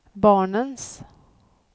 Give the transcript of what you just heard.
barnens